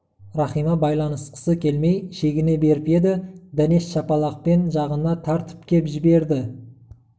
рахима байланысқысы келмей шегіне беріп еді дәнеш шапалақпен жағына тартып кеп жіберді